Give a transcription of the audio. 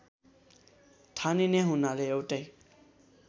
ठानिने हुनाले एउटै